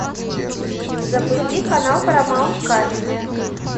запусти канал парамаунт камеди